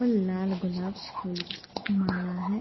और लाल गुलाब फूल की माला है।